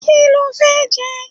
Kí lo fẹ́ jẹ?